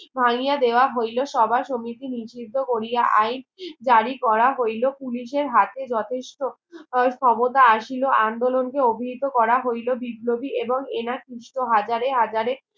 স্তাহনীয়া দেওয়া হইলো সবার সমিতি নিষিদ্ধ কোরিয়া আইন জারি করা হইলো পুলিশের হাতে যথেষ্ট ক্ষমতা আসিল আন্দোলনকে অভিযুত করা হইলো বিপ্লবী এবং এনার সুস্থ হাজারে হাজারে